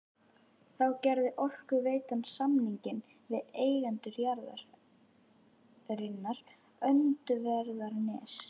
Þá gerði Orkuveitan samning við eigendur jarðarinnar Öndverðarness